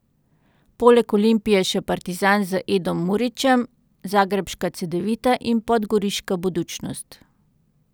Poleg Olimpije še Partizan z Edom Murićem, zagrebška Cedevita in podgoriška Budućnost.